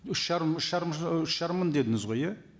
үш жарым үш жарым ыыы үш жарым мың дедіңіз ғой иә